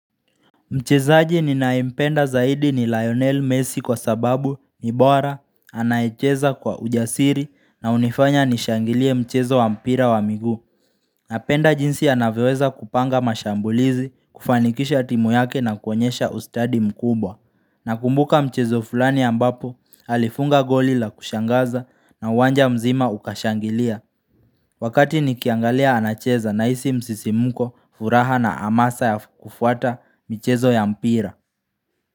Mchezaaji ninayempenda zaidi ni Lionel Messi kwa sababu ni bora, anaecheza kwa ujasiri na unifanya nishangilie mchezo wa mpira wa migu. Napenda jinsi anavyoweza kupanga mashambulizi, kufanikisha timu yake na kuonyesha ustadi mkubwa. Nakumbuka mchezo fulani ambapo, alifunga golila kushangaza na uwanja mzima ukashangilia. Wakati nikiangalia anacheza na isi msisimuko furaha na amasa ya kufuata michezo ya mpira.